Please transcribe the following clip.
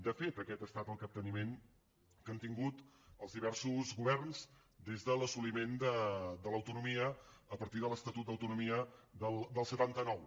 de fet aquest ha estat el capteniment que han tingut els diversos governs des de l’assoliment de l’autonomia a partir de l’estatut d’autonomia del setanta nou